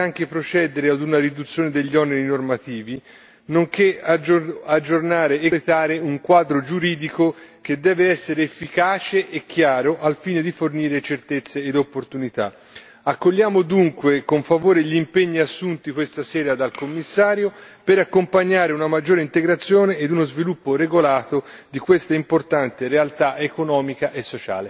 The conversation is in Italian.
Sarà importante anche procedere a una riduzione degli oneri normativi nonché aggiornare e completare un quadro giuridico che deve essere efficace e chiaro, al fine di fornire certezze ed opportunità Accogliamo dunque con favore gli impegni assunti questa sera dal Commissario per accompagnare una maggiore integrazione e uno sviluppo regolato di questa importante realtà economica e sociale.